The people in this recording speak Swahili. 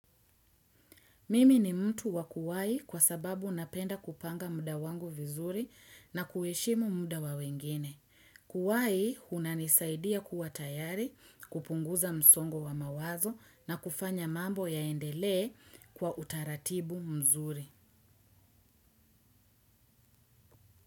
Mimi ni mtu wa kuwahi kwa sababu napenda kupanga muda wangu vizuri na kuheshimu muda wa wengine. Kuwahi unanisaidia kuwa tayari, kupunguza msongo wa mawazo, na kufanya mambo yaendelee kwa utaratibu mzuri.